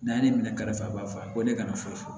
N'a ye ne minɛ ka faa ba fɔ a ye ko ne kana foyi fɔ